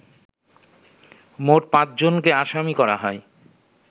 মোট পাঁচজনকে আসামি করা হয়